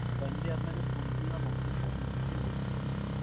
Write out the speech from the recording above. Sunday আপনাকে phone করলাম office এ, আপনি office এই বসেছিলেন ma'am ।